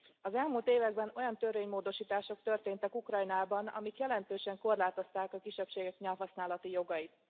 Az elmúlt években olyan törvénymódosítások történtek Ukrajnában, amelyek jelentősen korlátozták a kisebbségek nyelvhasználati jogait.